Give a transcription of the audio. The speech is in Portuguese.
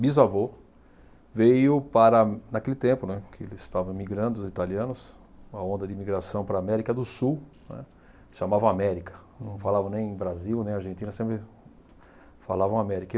bisavô veio para, naquele tempo, né, que eles estavam imigrando, os italianos, uma onda de imigração para a América do Sul, né, chamavam América, não falavam nem Brasil, nem Argentina, sempre falavam América.